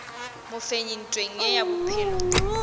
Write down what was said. mofenyi ntweng ye ya bophelo